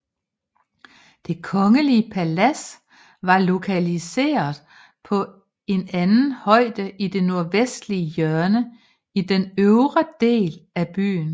Det kongelige palads var lokalisert på en anden højde i det nordvestlige hjørne i den øvre del af byen